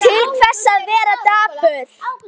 Til hvers að vera dapur?